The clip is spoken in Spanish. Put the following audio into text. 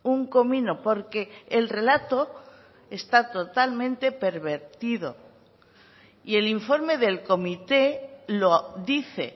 un comino porque el relato está totalmente pervertido y el informe del comité lo dice